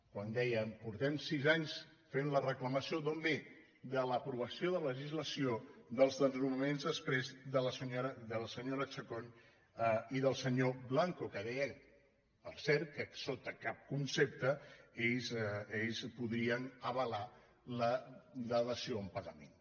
quan de·ia fa sis anys que fem la reclamació d’on ve de l’aprovació de legislació dels desnonaments exprés de la senyora chacón i del senyor blanco que deia per cert que sota cap concepte ells podien avalar la dació en pagament